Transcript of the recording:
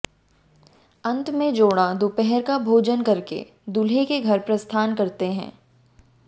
अंत में जोड़ा दोपहर का भोजन करके दूल्हे के घर प्रस्थान करते है